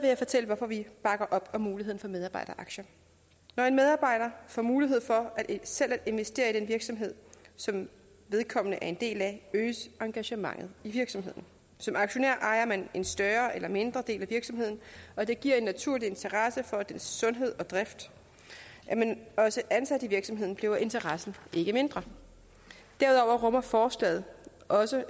jeg fortælle hvorfor vi bakker op om muligheden for medarbejderaktier når en medarbejder får mulighed for selv at investere i den virksomhed som vedkommende er en del af øges engagementet i virksomheden som aktionær ejer man en større eller mindre del af virksomheden og det giver en naturlig interesse for dens sundhed og drift er man også ansat i virksomheden bliver interessen ikke mindre derudover rummer forslaget også